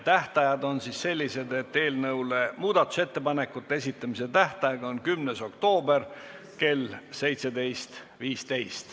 Eelnõu kohta muudatusettepanekute esitamise tähtaeg on 10. oktoober kell 17.15.